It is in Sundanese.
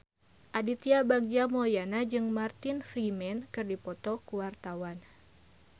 Aditya Bagja Mulyana jeung Martin Freeman keur dipoto ku wartawan